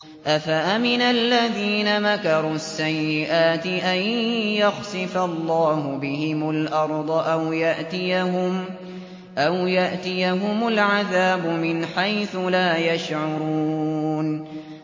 أَفَأَمِنَ الَّذِينَ مَكَرُوا السَّيِّئَاتِ أَن يَخْسِفَ اللَّهُ بِهِمُ الْأَرْضَ أَوْ يَأْتِيَهُمُ الْعَذَابُ مِنْ حَيْثُ لَا يَشْعُرُونَ